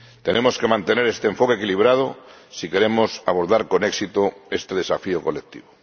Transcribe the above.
Tenemos que mantener este enfoque equilibrado si queremos abordar con éxito este desafío colectivo.